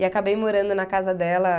E acabei morando na casa dela.